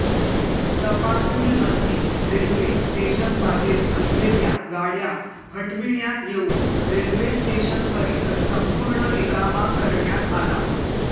तपासणीअंती railway स्टेशनबाहेर असलेल्या गाड्या हटविण्यात येऊन रेल्वेस्टेशन परिसर संपूर्ण रिकामा करण्यात आला